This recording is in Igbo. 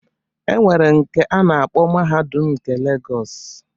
E nwere nke a na-akpọ Mahadum nke Legọs